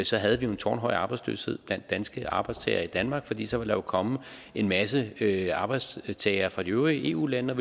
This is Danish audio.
så havde vi jo en tårnhøj arbejdsløshed blandt danske arbejdstagere i danmark fordi der så ville komme en masse masse arbejdstagere fra de øvrige eu lande